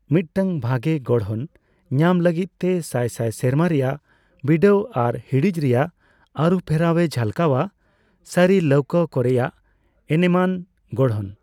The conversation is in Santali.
ᱢᱤᱫᱴᱟᱝ ᱵᱷᱟᱜᱮ ᱜᱚᱲᱦᱚᱱ ᱧᱟᱢ ᱞᱟᱹᱜᱤᱫᱛᱮ ᱥᱟᱭ ᱥᱟᱭ ᱥᱮᱨᱢᱟ ᱨᱮᱭᱟᱜ ᱵᱤᱰᱟᱹᱣ ᱟᱨ ᱦᱤᱸᱲᱤᱡ ᱨᱮᱭᱟᱜ ᱟᱨᱩᱯᱷᱮᱨᱟᱣᱮ ᱡᱷᱟᱞᱠᱟᱣᱟ ᱥᱟᱹᱨᱤ ᱞᱟᱹᱣᱠᱟᱹ ᱠᱚᱨᱮᱭᱟᱜ ᱮᱱᱮᱢᱟᱱ ᱜᱚᱲᱦᱚᱱ ᱾